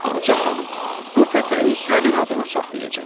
Ağca xanım, bu pətəyi sənin adına saxlayacam.